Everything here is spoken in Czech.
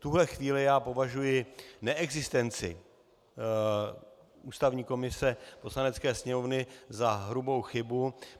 V tuhle chvíli já považuji neexistenci ústavní komise Poslanecké sněmovny za hrubou chybu.